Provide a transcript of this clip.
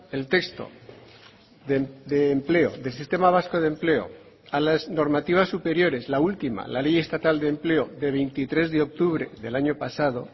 el texto de empleo del sistema vasco de empleo a las normativas superiores la última la ley estatal de empleo de veintitrés de octubre del año pasado